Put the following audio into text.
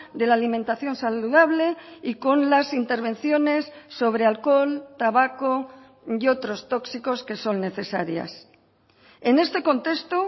de la alimentación saludable y con las intervenciones sobre alcohol tabaco y otros tóxicos que son necesarias en este contexto